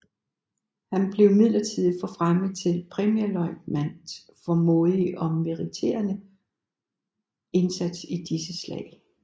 Han blev midlertidigt forfremmet til premierløjtnant for modig og meriterende indsats i disse slag